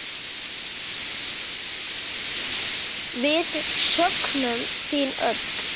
Við söknum þín öll.